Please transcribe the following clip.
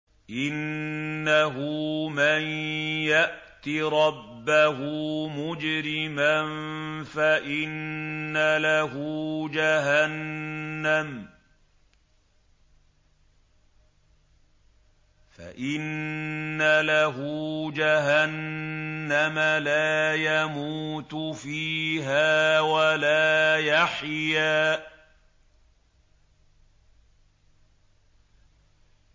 إِنَّهُ مَن يَأْتِ رَبَّهُ مُجْرِمًا فَإِنَّ لَهُ جَهَنَّمَ لَا يَمُوتُ فِيهَا وَلَا يَحْيَىٰ